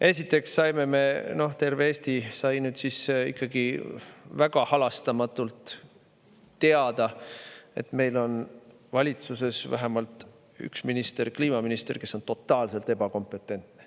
Esiteks saime, terve Eesti sai ikkagi väga halastamatult teada, et meil on valitsuses vähemalt üks minister – kliimaminister –, kes on totaalselt ebakompetentne.